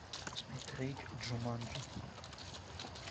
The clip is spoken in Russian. смотреть джуманджи